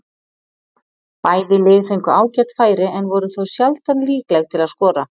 Bæði lið fengu ágæt færi en voru þó sjaldan líkleg til að skora.